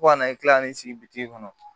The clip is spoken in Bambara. Fo ka na i kila n'i sigi bi kɔnɔ